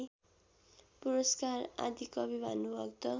पुरस्कार आदिकवि भानुभक्त